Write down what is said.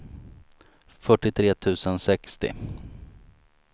fyrtiotre tusen sextio